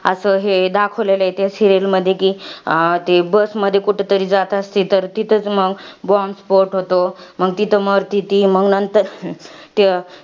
असं हे दाखवलेलं आहे त्या serial मधी कि अं ते bus मध्ये कुठतरी जात असती. तर तिथच मंग bomb spot होतो. मंग तिथं मरती ती. मंग नंतर, त्या